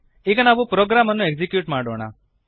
ಈಗ ನಾವು ಪ್ರೊಗ್ರಾಮನ್ನು ಎಕ್ಸಿಕ್ಯೂಟ್ ಮಾಡೋಣ